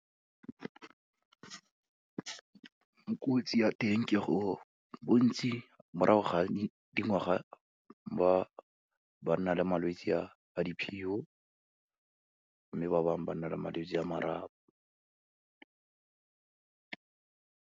ya teng ke go, bontsi morago ga dingwaga, ba nna le malwetsi a di , mme ba bangwe ba nna le malwetsi a marapo.